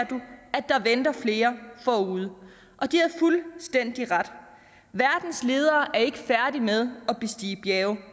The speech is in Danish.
at der venter flere forude og de havde fuldstændig ret verdens ledere er ikke færdige med at bestige bjerge